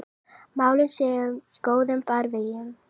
Málin séu í góðum farvegi.